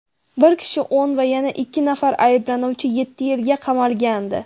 bir kishi o‘n va yana ikki nafar ayblanuvchi yetti yilga qamalgandi.